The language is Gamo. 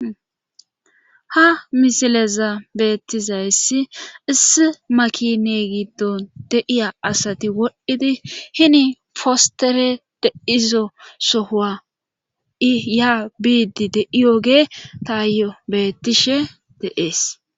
Ha misileza beettizayssi issi makine giddon deiya asati wodhdhidi hini fostere de izo sohoa iya biidi deiyoge taayo bettishe deees.